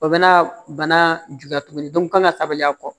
O bɛ na bana juguya tuguni n kan ka taabaliya kɔ